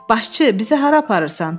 Başçı, bizə hara aparırsan?